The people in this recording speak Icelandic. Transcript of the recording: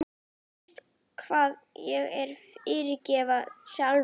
Fyrst verð ég að fyrirgefa sjálfum mér.